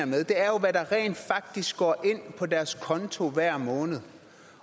med er jo hvad der rent faktisk går ind på deres konto hver måned